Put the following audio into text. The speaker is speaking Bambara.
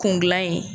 Kun gilan ye